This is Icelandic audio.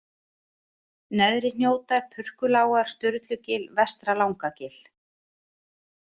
Neðri-Hnjótar, Purkulágar, Sturlugil, Vestra-Langagil